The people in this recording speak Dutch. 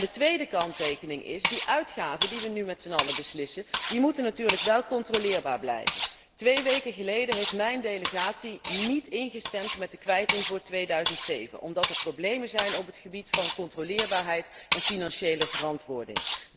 De tweede kanttekening is dat die uitgaven, waarover we nu met zijn allen beslissen, natuurlijk wel controleerbaar moeten blijven. Twee weken geleden heeft mijn delegatie niet ingestemd met de kwijting voor 2007, omdat er problemen zijn op het gebied van controleerbaarheid en financiële verantwoording.